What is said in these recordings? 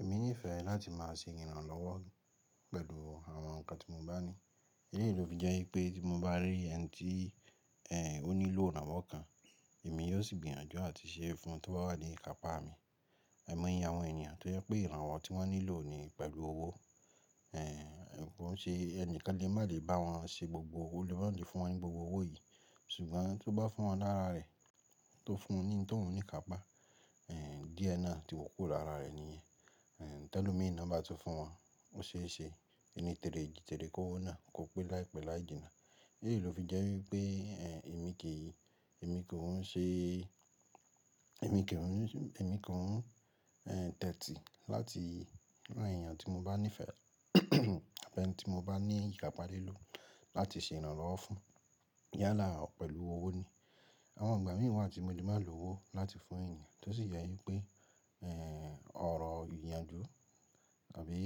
Èmi nífẹ̀ẹ́ láti má a ṣe ìrànlọ́wọ́ pẹ̀lú àwọn nǹkan tí mo bá ní. Eléyìí ló fi jẹ́ wípé tí mo bá rí ẹni tí òní ló ìrànwọ́ kan, èmi yóò sì gbìyànjú àti ṣe é fún un tí ó bá wà ní ìkápá mi. Àìmọ iye àwọn ènìyàn tó jẹ́ pé ìrànwọ́ tí wọ́n nílò ni pẹ̀lú owó. Ẹ̀ ǹ kò ń ṣe ẹni kan lè má lè bá wọn ṣe gbogbo, ó lè má lè fún wọn ní gbogbo owó yìí, ṣùgbọ́n tó bá fún wọn lára rẹ̀, tó fún ní ohun tóun níkápá, è díẹ̀ náà tí kúrò lára rẹ̀ nìyẹn. Tẹ́lomi ná bá tún fún wọn, ó ṣeé ṣe ẹni tère èjì tère kówó náà kò pé láìpẹ́ láì jìnnà. Éyìí ló fi jẹ́ wípé èmi kì í, èmi kò ń ṣe, èmi kì ń, èmi kò ń tẹtí láti rán ènìyàn tí mo bá nífẹ̀ẹ́ àbí ẹni tí mo bá ní ìkápá lílò láti ṣe ìrànlọ́wọ́ fún. Yálà á pẹ̀lú owó ni. Àwọn ìgbà mìí wa tímo lè má lówó láti fún ènìyàn, tó sì jẹ́ wípé è orọ̀ ìyànjú àbí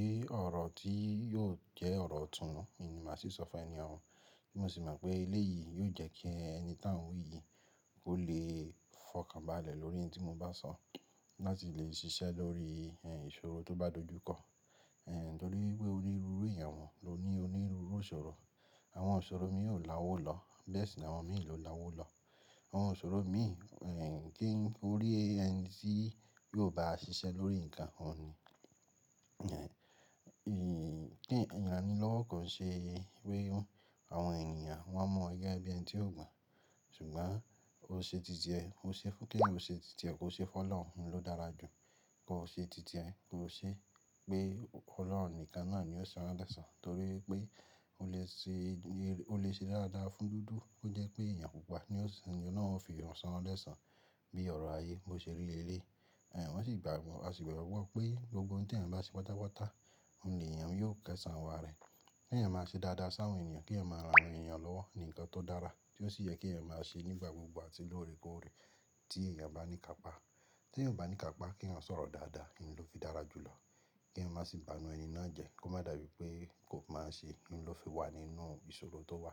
ọ̀rọ̀ tí yóò jẹ́ ọ̀rọ̀ ìtúnú ni màá sì sọ fún ènì òun. Tí mọ̀ sì mopé éleyìí yóò jẹ́ kí ẹni tí à ń wí yìí ó lè fọkànbalẹ̀ lórí ohun tí mo bá sọ, láti lè ṣiṣẹ́ lórí è ìṣòro tó bá dojú kọ. Ẹ̀ nítorí wípé onírúurú ènìyàn ló ní onírúurú ìṣòro. Àwọn ìṣòro mi ò la owó lọ, bẹ́ẹ̀ sì àwọn mi ló la owó lọ. Àwọn ìṣòro mi, è kí o rí ẹni tí yóò bá a ṣiṣẹ́ lórí nǹkan òun ni. Ẹ̀ ì kí ìrànilọ́wọ́ kò ṣe pe àwọn ènìyàn, wọ́n máa yo ẹ bí ẹni tí ó gbọ̀n. Ṣùgbọ́n ó ṣe títiẹ, ó ṣe fún kèèyàn ó ṣe títiẹ, kó ṣe fọ́ lọ́hun ló dára jù. Kó ṣe títiẹ, kó ṣe pé Ọlọ́run nìkan náà ni ó san lẹ́sàn-án, torí pé ó lè ṣe, ó lè ṣe dáadáa fún dúdú. Kò jẹ́ pé èèyàn pupa ni ó ń ṣe, ènìyàn náà ó fi san lẹ́sàn bí ọ̀rọ̀ ayé bó ṣe rí lé e lèyí. Ẹ̀ wọ́n sì gbàgbọ́, a sì gbọ́gbọ́ pé gbogbo ohun tí ènìyàn bá ṣe pátápátá, òun lèèyàn yóò kẹ́ṣàn ìwá rẹ̀. Kèyàn má ṣe dáadáa sáwọn ènìyàn, kèyàn má rán àwọn ènìyàn lọ́wọ́ ni nǹkan tó dára, tí ó sì yẹ kí ènìyàn má ṣe nígbà gbogbo àti lóore kóóre tí èèyàn bá ní ìkápá. Tí èèyàn ò bá ní ìkápá, kèèyann sọ̀rọ̀ dáadáa ni ló fi dára jù lọ. Kèèyàn má sì bànu ẹni náà jẹ, kó má dàbí pé kó mo ṣe, ló fi wà nínú ìṣòro tó wà.